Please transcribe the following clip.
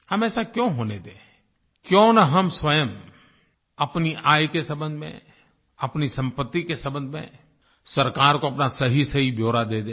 हम ऐसा क्यों होने दें क्यों न हम स्वयं अपनी आय के सम्बन्ध में अपनी संपत्ति के सम्बन्ध में सरकार को अपना सहीसही ब्यौरा दे दें